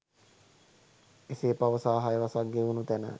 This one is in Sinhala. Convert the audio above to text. එසේ පවසා හය වසක් ගෙවුනු තැන